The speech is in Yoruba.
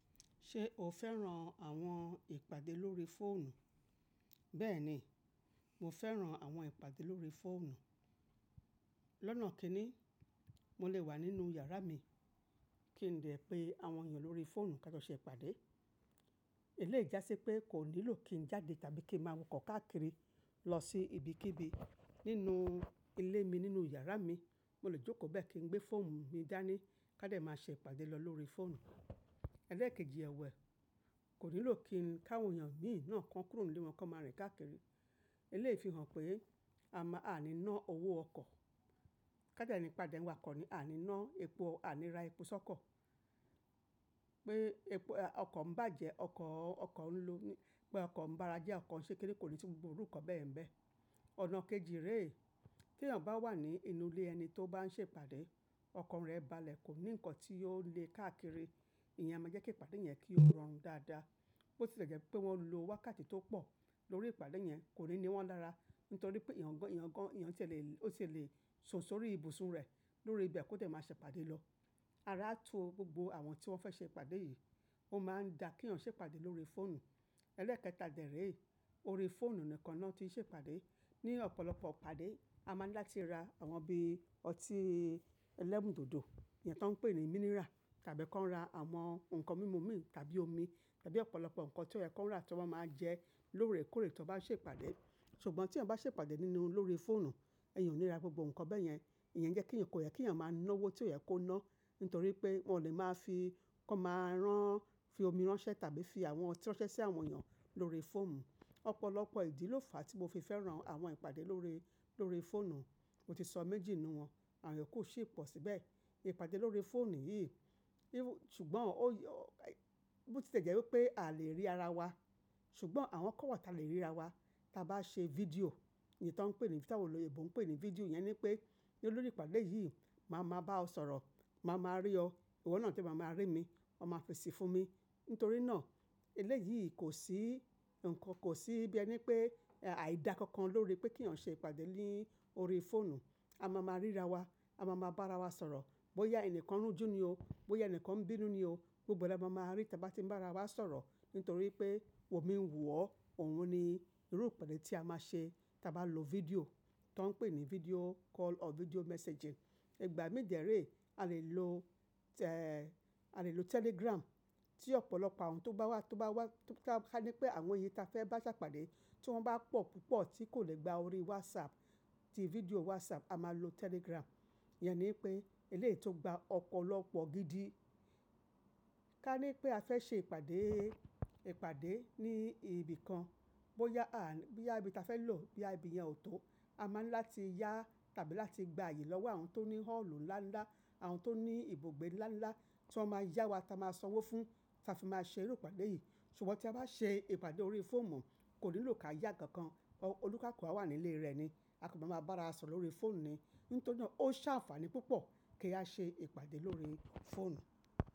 Ṣé o fẹ́ràn àwọn ìpàdé lórí fóònù? Beeni, mo fẹ́ràn àwọn ìpàdé lórí fóònù. Lọ́nà kíni, mo lè wà nínú yàrá mi, kí n dè pé àwọn èèyàn lórí fóònù kájo ṣe ìpàdé. Eleyi jásí pé kò nílò kí n jáde tàbí kí n máa wọkọ́ kàkiri lọ sí ibi kíbi. Nínú ilé mi, nínú yàrá mi, mo lè jókòó bẹ́ẹ̀ kí n gbé fóònù mi gbe dání ká dé máa ṣe ìpàdé lọ lórí fóònù. Ẹ̀ẹ́lẹ̀kejì ẹ̀wẹ, kò nílò kí káwọn èèyàn míì náà kan kúrò nílé wọn kán máa rìn káàkiri. Fi hàn pé a máa a ní ná owó ọkọ̀. Ká dẹ́ ní pe àdé nwakọ́ ni, a ní ná epo, a ní ra epo sọ́kọ̀. Pé epo ọkọ̀ ń bàjẹ́, ọkọ̀, ọkọ̀ ń lo ní, pé ọkọ̀ ń bára jẹ́ ọkọ̀ ń ṣe kinikan, kò ní si gbogbo iru nkan bẹ́yẹ̀ ńbẹ̀. Ọ̀nà kejì rẹ́, tí èèyàn bá wà ní inú ilé ẹni tó bá ń ṣe ìpàdé, ọkan rẹ̀ bá lẹ̀ kò ní nǹkan tí óò nle káàkiri. Ìyẹn máa jẹ́ kí ìpàdé yẹn kí ó rọrùn dáadáa. Bó ti lẹ̀jẹ́ pé wọ́n lo wákàtí tó pọ̀ lórí ìpàdé yẹn kò ní ni wọ́n lára. Nítorí pé eeyàn gán, eeyàn gán, eeyàn tí ẹ lè, ó tie lè sùn sórí ibùsùn rẹ̀ lórí ibẹ̀ kí ó de máa ṣe ìpàdé lọ. Ara tu gbogbo àwọn tí wọ́n fẹ́ ṣe ìpàdé yìí, ó máa n dà kí èèyàn ṣe ìpàdé lórí fóònù. Ẹlẹ́ẹ̀kẹta dè rẹ́, orí fóònù nìkan náà tí ń ṣe ìpàdé. Ni ọ̀pọ̀lọpọ̀ ìpàdé, a máa ń láti ra àwọn bí ọtí ẹlẹ́mùdodo, èyí tó ń pè ní mineral tàbí kán máa ra àwọn nǹkan mímu mí tàbí omi tàbí ọ̀pọ̀lọpọ̀ nǹkan tí ó yẹ kó rà tí wọ́n máa jẹ lórèkórè tí wọ́n bá ṣe ìpàdé. Ṣùgbọ́n tíyan bá ṣe ìpàdé nínú lórí fóònù, ẹ̀yàn ò ní ra gbogbo nǹkan bẹ́ẹ̀ yẹn. Ìyẹn jẹ́ kí èèyàn kò yẹ kí èèyàn máa ná owó tí ó yẹ kó ná. Nítorí pé wọ́n lè máa fi, kan máa rán fi omi ránṣẹ́ tàbí fi àwọn ọtí ránṣẹ́ sí àwọn èèyàn lórí fóònù. Ọ̀pọ̀lọpọ̀ ìdí ló fà tí mo fi fẹ́ràn àwọn ìpàdé lórí, lórí fóònù. Mo ti sọ méjì nínú wọn, àwon yoku si pọ̀ síbẹ̀. Ìpàdé lórí fóònù yìí, ṣùgbọ́n ó bó ti lẹ̀jẹ́ wípé a o lè rí ara wa. Ṣùgbọ́n àwọn kan wa tí a lè ríra wa, tí a bá ṣe fídíò, èyí tó ń pè ní, tí àwọn olèbọ ń pè ní fídíò. Ìyẹn ni pé lórí ìpàdé yìí, màá máa bá ọ sọ̀rọ̀, màá máa rí ọ, ìwọ náà de màá máa rí emi, wa máa fesí fún mi. Nítorí náà eleyii kò sí nǹkan, kò sí bí ẹni pé àìda kankan lórí pé kí èèyàn ṣe ìpàdé ní orí fóònù. A máa máa ríra wa, a máa máa bá ara wa sọ̀rọ̀. Bóyá ẹni kan run jú ní o, bóyá ẹni kan ń bínú ní o, gbogbo la máa máa rí tí a bá ti ń bá ara wa sọ̀rọ̀. Nítorí pé wò mí ń wò ọ́, òun ni irú ìpàdé tí a máa ṣe tí a bá lo fídíò tó ń pè ní video call or video messaging. Ìgbà miì de rẹ́, a lè lo, a lè lo Telegram tí ọ̀pọ̀lọpọ̀ àwọn tó bá wá, tó bá wá, ká ní pé àwọn èyí tí a fẹ́ bá ṣe ìpàdé tí wọ́n bá pọ̀ púpọ̀ tí kò lè gba orí WhatsApp, ti fídíò WhatsApp, a máa lo Telegram. Ìyẹn ni pé eléyìí tó gba ọ̀pọ̀lọpọ̀ gidi. Ká ní pé a fẹ́ ṣe ìpàdé, ìpàdé ní ibìkan. Bóyá a, boya ibi tí a fẹ́ lò, bí i ibi yẹn ò tó, a máa ń láti yá tàbí láti gba àyè lọ́wọ́ àwọn tó ní họ́ọ̀lù ńlá ńlá, àwọn tó ní ibùgbé ńlá ńlá tí wọ́n máa yá wa tí a máa sanwó fún, tí a fi máa ṣe irú ìpàdé yìí. Ṣùgbọ́n tí a bá ṣe ìpàdé orí fóònù, kò nílò kí a yá nkankan. Onikaluku a wà ní ilé rẹ̀ ni, a kan ma máa bá ara sọ̀rọ̀ lórí fóònù ni. Nítorí náà ó ṣe àǹfààní púpọ̀ kí a ṣe ìpàdé lórí fóònù.